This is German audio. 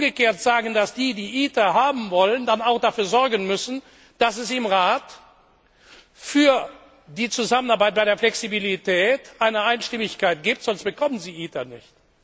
Dann will ich umgekehrt sagen, dass diejenigen, die ITER haben wollen, dann auch dafür sorgen müssen, dass es im Rat für die Zusammenarbeit bei der Flexibilität eine Einstimmigkeit gibt, sonst bekommen Sie ITER nicht.